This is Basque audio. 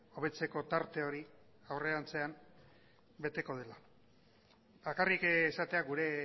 hobetzeko tarte hori aurrerantzean beteko dela bakarrik esatea gure